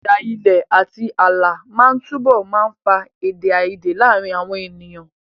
Ìjà ilẹ̀ àti ààlà máa túbọ̀ máa fa èdè àìyedè láàárín àwọn ènìyàn.